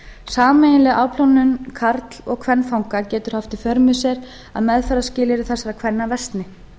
sameiginleg afplánun karl og kvenfanga getur haft í för með sér að meðferðarskilyrði þessara kvenna versni